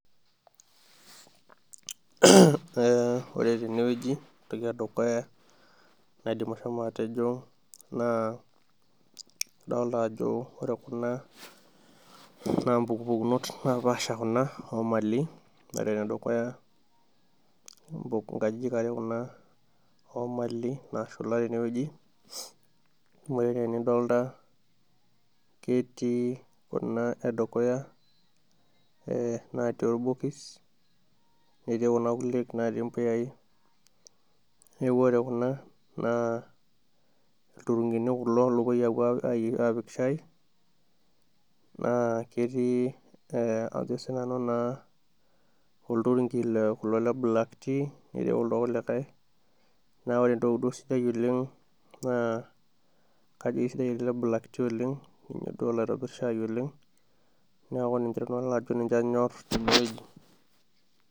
Ore teneweji entoki edukuya naidim ashomo atejo ,naa adolita ajo ore kuna naa mpukunot napaashipasha kuna oomali, ore tedukuya nkajijik are kuna oomali naashula teneweji, ore enaa enidolita ketioi Kuna edukuya natii orbokis, netii Kuna kulie natii mpuyai ,neeku ore Kuna naa lturungini kulo loopoi apik shaai ,naa ketioi naa ajo sii nanu olturunki leblak ti, netii kuldo kulikae naa ore duo enatoki sidai oleng naa kajo keisidai elde leblak ti oleng ninye duo olo aitobir saahi oleng neeku ninye anjor teneweji.